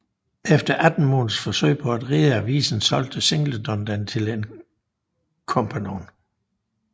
Efter 18 måneders forsøg på at redde avisen solgte Singleton den til en kompgannon